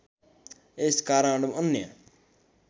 यस कारण अन्य